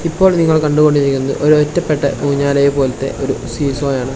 ഇപ്പോൾ നിങ്ങൾ കണ്ടുകൊണ്ടിരിക്കുന്നത് ഒരു ഒറ്റപ്പെട്ട ഊഞ്ഞാലയ പോലത്തെ ഒരു സീസ്സോയാണ് .